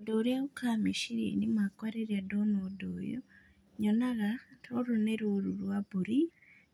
Ũndũ ũrĩa ũkaga meciriainĩ makwa rĩrĩa ndona ũndũ ũyũ, nyonaga rũrũ nĩ rũru rwa mbũri,